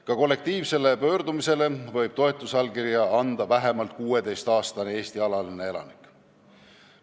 Ka kollektiivsele pöördumisele võib toetusallkirja anda vähemalt 16-aastane Eesti alaline elanik.